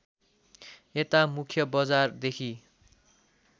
यता मुख्य बजारदेखि